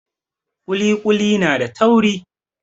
Ƙuli ƙuli na da tauri.